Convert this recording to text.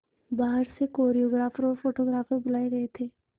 बाहर से कोरियोग्राफर और फोटोग्राफर बुलाए गए थे